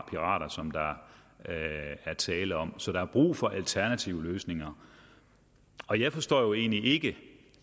pirater som der er tale om så der er brug for en alternativ løsning og jeg forstår egentlig ikke